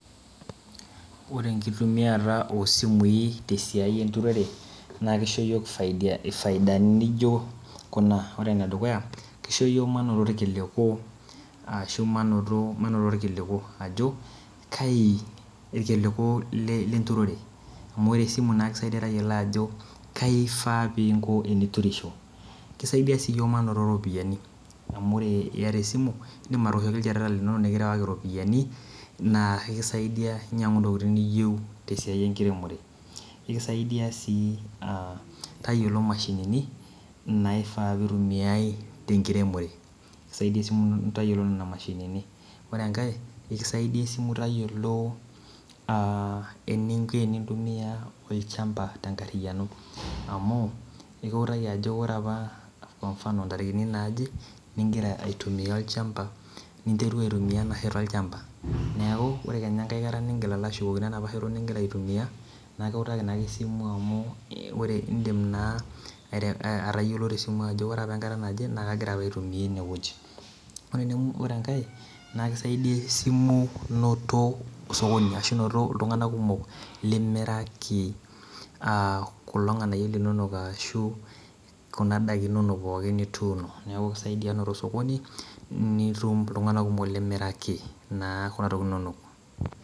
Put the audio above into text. Ore ekitumiata oo simui te siai eturore naa kisho ninye iyiok ifaidani naijo kuna ore enedukuya kisho iyiok manoto irkiliku ashu manoto irkiliku kai irkiliku le turore amu ore esimu naa ekisaidia tayiolo ajo kai ifaa teniko teniturisho kisaidia sii iyiok manoto iropiyani amu ore iyata esimu nitum atooshoki ilchoreta linonok nikirewaki iropiyani naa ekisaidia inyangu intokitin niyieu te siai ekiremore ekisaidia sii ah tayiolo mashinini naifaa pitumiae te ekiremore ekijo esimu ino tayiolo nena mashinini ore enkae ekisaidia esimu tayiolo ah eniko enitumiae olchamba te kariyiano ekiwotaki ajo ore apa tarikini naaje nigira aitumia olchamba niterua aitumia ena shoto olchamba neaku ore kenya ekae kata nigil alo ashukokino enapa shoto nigira aitumia naa ekiutaki naa ake esimu amu ore indim naa atayiolo te simu ajo ore apa enkata naje naa kagira apa aitumia enewueji ore enkae naa ekisaidia esimu noyo sokoni ashu noto iltunganak kumok limiraki ah kulo nganayio linonok ashu kuna ndaiki inonok pooki nituuno neaku kisaidia noto osokoni nitum iltunganak kumok limiraki naa kuna ntokitin inonok.